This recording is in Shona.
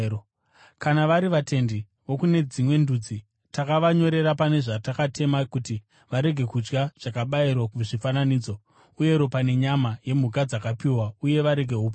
Kana vari vatendi vokune veDzimwe Ndudzi, takavanyorera pane zvatakatema kuti varege kudya zvakabayirwa kuzvifananidzo, uye ropa, nenyama yemhuka dzakadzipwa uye varege upombwe.”